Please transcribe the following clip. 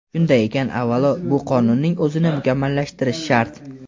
Shunday ekan, avvalo, bu qonunning o‘zini mukammallashtirish shart.